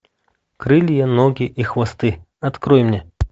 крылья ноги и хвосты открой мне